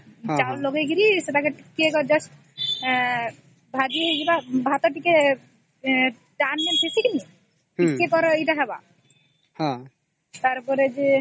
ଚାଉଳ ଲଗେଇକିରି ସେପଟେ ଟିକିଏ just ଭାଜି ହେଇଯିବ ଭାତ ଟିକେ ଟାଣ ଜେସି ଥି କି ନାଇଁ ଟିକେ କରା ଏଇଟା ହବ ତାର ପରେ ଯେ